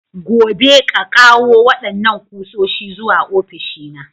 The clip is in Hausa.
Gobe, ƙa ƙawo wadannan kusoshi zuwa ofishina!